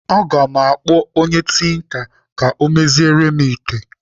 Aga m akpọ onye tinka ka ọ meziere m ite.